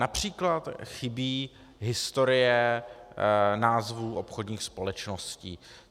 Například chybí historie názvů obchodních společností.